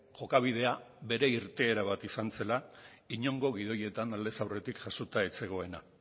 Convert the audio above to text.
jokabidea bere irteera bat izan zela inongo gidoietan aldez aurretik jasota ez zegoena